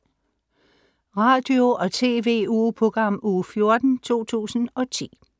Radio- og TV-ugeprogram Uge 14, 2010